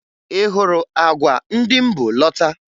Ị hụrụ àgwà ndị m bu lọta?